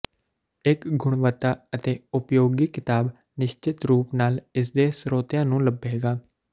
ਇੱਕ ਗੁਣਵੱਤਾ ਅਤੇ ਉਪਯੋਗੀ ਕਿਤਾਬ ਨਿਸ਼ਚਿਤ ਰੂਪ ਨਾਲ ਇਸਦੇ ਸਰੋਤਿਆਂ ਨੂੰ ਲੱਭੇਗੀ